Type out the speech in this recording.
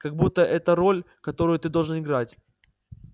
как будто это роль которую ты должен играть